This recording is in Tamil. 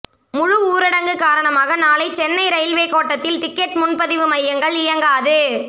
முழு ஊரடங்கு காரணமாக நாளை சென்னை ரயில்வே கோட்டத்தில் டிக்கெட் முன்பதிவு மையங்கள் இயங்காது